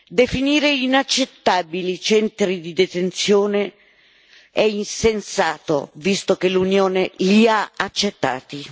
Definire inaccettabili i centri di detenzione è insensato, visto che l'Unione li ha accettati!